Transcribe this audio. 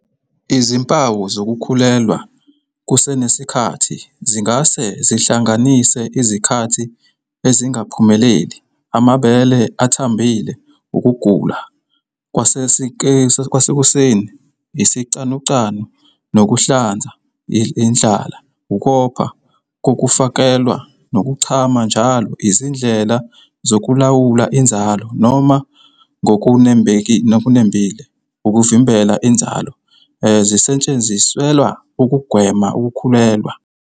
Izimpawu zokukhulelwa kusenesikhathi zingase zihlanganise izikhathi ezingaphumeleli, amabele athambile, Ukugula kwasekuseni, isicanucanu nokuhlanza, indlala, ukopha kokufakelwa, nokuchama njalo. Izindlela zokulawula inzalo - noma, ngokunembile, "ukuvimbela inzalo" - zisetshenziselwa ukugwema ukukhulelwa.